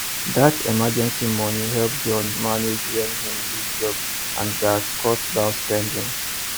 that emergency money help john manage when him lose job and gats cut down spending